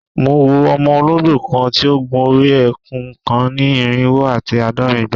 Mo wo ọmọ ologbo kan ti o gun ori eku kan ni irinwo ati aadọrin igba